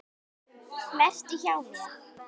Vertu hjá mér.